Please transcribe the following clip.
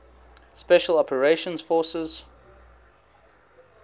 special operations forces